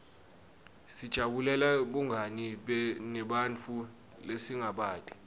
sijabulela bungani nebantfu lesingabati